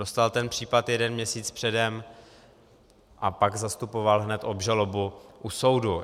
Dostal ten případ jeden měsíc předem a pak zastupoval hned obžalobu u soudu.